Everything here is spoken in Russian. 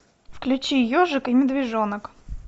включи ежик и медвежонок